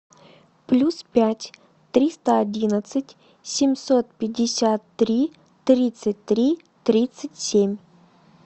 плюс пять триста одинадцать семьсот пятьдесят три тридцать три тридцать семь